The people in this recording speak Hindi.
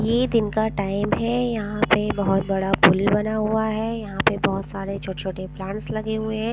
ये दिन का टाइम हैं यहाँ पे बहुत बड़ा पुल बना हुआ हैं यहाँ पे बहुत सारे छोटे-छोटे प्लांट्स लगे हुए हैं ।